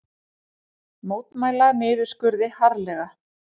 Mótmæla niðurskurði harðlega